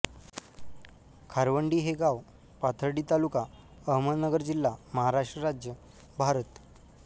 खारवंडी हे गाव पाथर्डी तालुका अहमदनगर जिल्हा महाराष्ट्र राज्य भारत